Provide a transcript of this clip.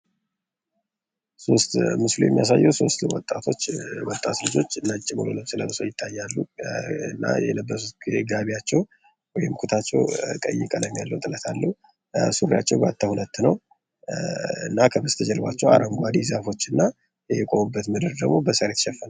ምስሉ የሚያሳየው ሦስት ወጣቶች ልጆች ነጭ ሙሉ ልብስ ለብሰው ይታያሉ። እና የለበሱት ገቢያቸው ወይም ኩታቸው ወደ ቀይ ቀለም ያለው ጥለት አለው ። ሱሪያቸውም ሁለት ነው።. ከበስተጀርባ አረንጓዴ ዛፎች እና የቆሙበት ምድር ደግሞ በሳር የተሸፈነ ነው።